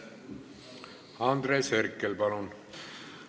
Andres Herkel, palun!